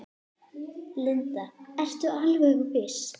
Linda: Ertu alveg viss?